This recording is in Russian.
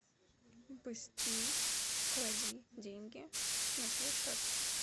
быстрей клади деньги на свой счет